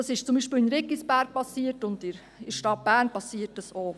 Das ist zum Beispiel in Riggisberg geschehen, und in der Stadt Bern geschieht es auch.